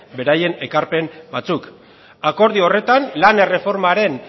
beraien ekarpen batzuk akordio horretan lan erreformaren